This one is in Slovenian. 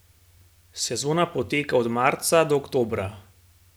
Sezona poteka od marca do oktobra.